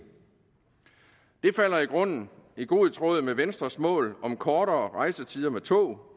det falder i grunden i god tråd med venstres mål om kortere rejsetider med tog